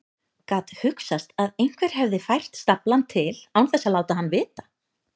Gat hugsast að einhver hefði fært staflann til án þess að láta hann vita?